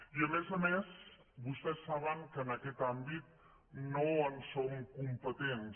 i a més a més vostès saben que en aquest àmbit no en som competents